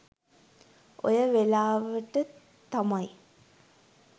ඔය වෙලාවට තමයි